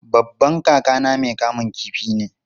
Babban kakana mai kamun kifi ne.